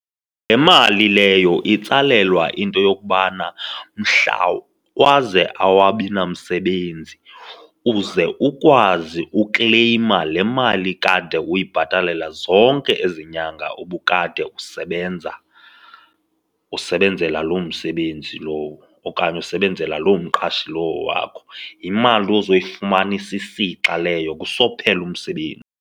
Le mali leyo itsalelwa into yokubana mhla waze awabi namsebenzi uze ukwazi ukleyma le mali kade uyibhatalele zonke ezi nyanga ubukade usebenza, usebenzela lo msebenzi lowo okanye usebenzela loo mqashi lowo wakho. Yimali uzoyifumana isisixa leyo kusophela .